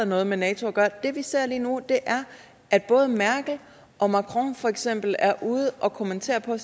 noget med nato at gøre det vi ser lige nu er at både merkel og macron for eksempel er ude at kommentere på